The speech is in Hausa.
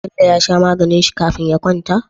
Bello ya sha maganin shi kafin ya kwanta?